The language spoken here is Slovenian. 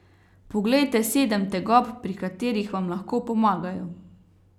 Poglejte sedem tegob, pri katerih vam lahko pomagajo.